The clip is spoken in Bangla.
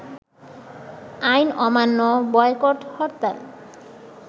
আইন অমান্য, বয়কট হরতাল